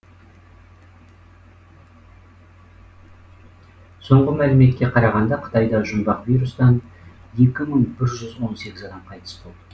соңғы мәліметке қарағанда қытайда жұмбақ вирустан екі мың бір жүз он сегіз адам адам қайтыс болды